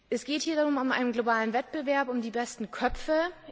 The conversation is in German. Es geht hier um einen globalen Wettbewerb um die besten Köpfe.